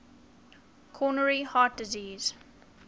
coronary heart disease